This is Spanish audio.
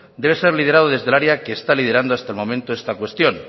debe ser liderado desde el área que está liderando en este momento esta cuestión